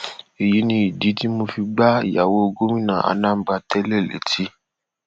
èyí ni ìdí tí mo fi gba ìyàwó gómìnà anambra tẹlẹ létí